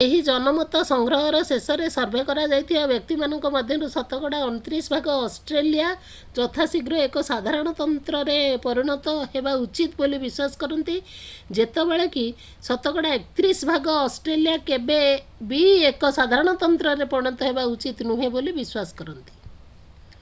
ଏହି ଜନମତ ସଂଗ୍ରହର ଶେଷରେ ସର୍ଭେ କରାଯାଇଥିବା ବ୍ୟକ୍ତିମାନଙ୍କ ମଧ୍ୟରୁ ଶତକଡ଼ା 29 ଭାଗ ଅଷ୍ଟ୍ରେଲିଆ ଯଥାଶୀଘ୍ର ଏକ ସାଧାରଣତନ୍ତ୍ରରେ ପରିଣତ ହେବା ଉଚିତ ବୋଲି ବିଶ୍ୱାସ କରନ୍ତି ଯେତେବେଳେ କି ଶତକଡ଼ା 31 ଭାଗ ଅଷ୍ଟ୍ରେଲିଆ କେବେ ବି ଏକ ସାଧାରଣତନ୍ତ୍ରରେ ପରିଣତ ହେବା ଉଚିତ ନୁହେଁ ବୋଲି ବିଶ୍ୱାସ କରନ୍ତି